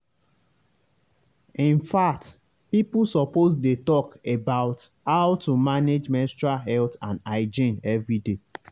in fact people suppose dey talk about how to manage menstrual health and hygiene everyday